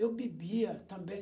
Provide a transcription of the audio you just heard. Eu bebia também.